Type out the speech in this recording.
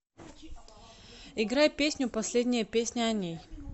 играй песню последняя песня о ней